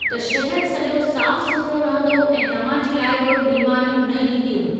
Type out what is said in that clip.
त शहर सॼो साफ़ु सुथिरो रहंदो ऐं तव्हां जे लाइ बि बीमारियूं न ईंदियूं।